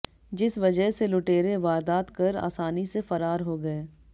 जिस वजह से लुटेरे वारदात कर आसानी से फरार हो गए